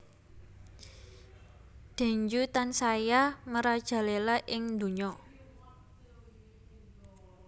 Dengue tansaya merajalela ing donya